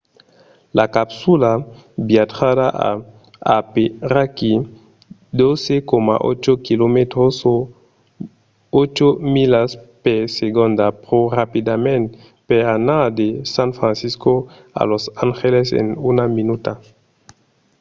la capsula viatjarà a aperaquí 12,8 km o 8 milas per segonda pro rapidament per anar de san francisco a los angeles en una minuta